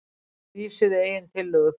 Vísuðu eigin tillögu frá